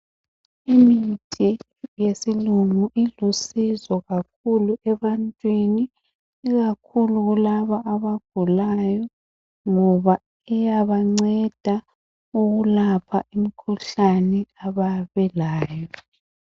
Imithi yesilungu ilisizo kakhulu ebantwini ikakhulu laba abagulayo ngoba iyabanceda ukulapha imikhuhlane ababelayo